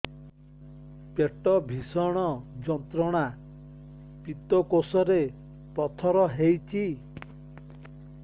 ପେଟ ଭୀଷଣ ଯନ୍ତ୍ରଣା ପିତକୋଷ ରେ ପଥର ହେଇଚି